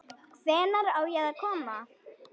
Hvenær á ég að koma?